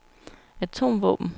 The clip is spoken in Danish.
atomvåben